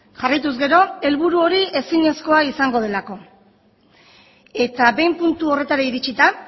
jarraituz gero helburu hori ezinezkoa izango delako eta behin puntu horretara iritsita